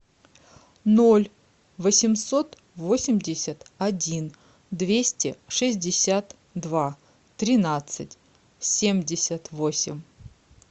ноль восемьсот восемьдесят один двести шестьдесят два тринадцать семьдесят восемь